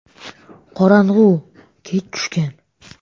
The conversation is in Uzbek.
“Qorong‘u, kech tushgan.